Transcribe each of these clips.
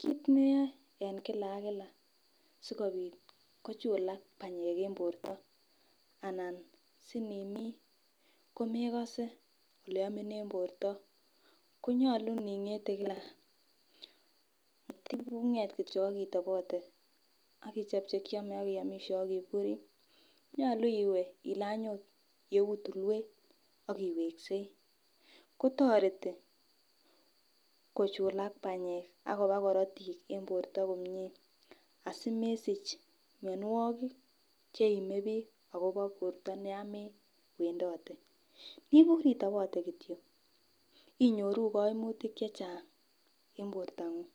Kit neyoe en kila ak kila sikobit kochulak banyek en borto anan sinimii komekose oleomin en borto konyolu iningete kila mating'et kityok ak itobote ak ichob chekiome akiomisie ak iburii nyolu iwe ilany ot yeu tulwet ak iweksei kotoreti kochulak banyek ak koba korotik en borto komie asimesich mionwogik cheimebiik akobo borto yan mewendote. Nibur itobote kityok inyoru koimutik chechang en bortong'ung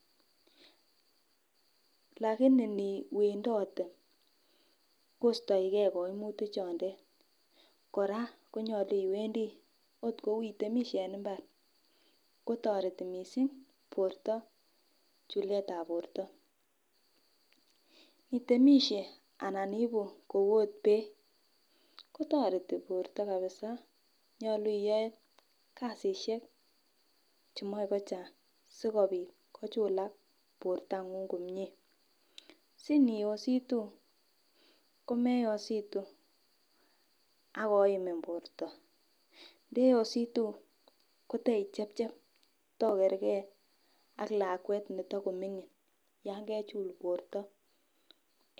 lakini niwendote kostoigee koimutik chondet kora konyolu iwendii ot kou itemisie en mbar kotoreti missing' borto chuletab borto. Nitemisie anan iibu kou ot beek kotoreti borto kabisa nyolu iyoe kasisiek chemoe kochang sikobit kochulak bortong'ung komie si niyositu komeyositu akoimin borto, ndeyositu koteichepchep tokergee ak lakwet netakoming'in yan kechul borto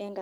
en